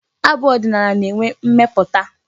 Abụ ọdịnala na-enwe mmeputa.